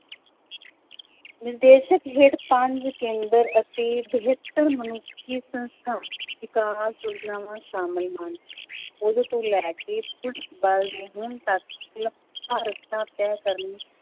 ਨਿਰਦੇਸ਼ਕ ਹੇਠ ਪੰਜ ਕੇਂਦਰ ਅਤੇ ਬਿਹਤਰ ਮਨੁੱਖੀ ਸੰਸਥਾ ਵਿਕਾਸ ਯੋਜਨਾਵਾਂ ਸ਼ਾਮਿਲ ਹਨ ਉਦੋਂ ਤੋਂ ਲੈ ਕੇ ਪੁਲਿਸ ਬਲ ਨੇ ਹੁਣ ਤੱਕ ਕਰਨ